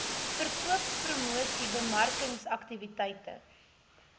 verkoopspromosiesbemarkingsaktiwiteite